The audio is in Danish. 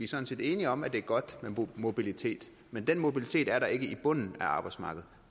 sådan set enige om at det er godt med mobilitet men den mobilitet er der ikke i bunden af arbejdsmarkedet